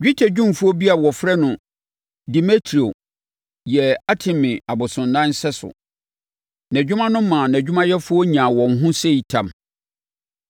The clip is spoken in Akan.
Dwetɛdwumfoɔ bi a wɔfrɛ no Demetrio yɛɛ Artemi abosonnan sɛso. Nʼadwuma no maa nʼadwumayɛfoɔ nyaa wɔn ho sei tam.